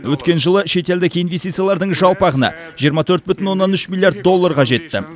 өткен жылы шетелдік инвестициялардың жалпы ағыны жиырма төрт бүтін оннан үш миллиард долларға жетті